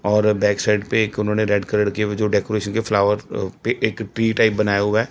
और back side पे एक उन्होंने रेड कलर की जो डेकोरेशन के फ्लावर पे एक डी टाइप बनाया हुआ है।